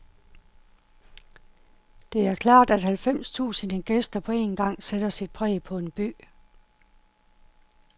Det er klart, at halvfems tusinde gæster på en gang sætter sit præg på en by.